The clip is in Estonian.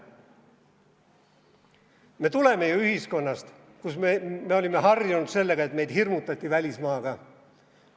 Me tuleme ju ühiskonnast, kus me olime harjunud, et meid hirmutati välismaaga.